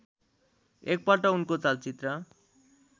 एकपल्ट उनको चलचित्र